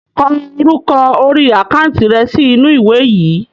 Ko orúkọ orí àkántì rẹ sì inú ìwé yìí!